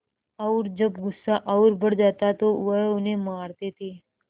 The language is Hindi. और जब गुस्सा और बढ़ जाता तो वह उन्हें मारते थे